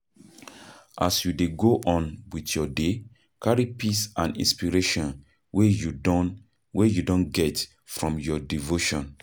As you dey go on with your day, carry peace and inspiration wey you don wey you don get from your devotion